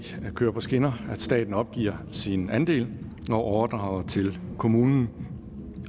kører på skinner at staten opgiver sin andel og overdrager den til kommunen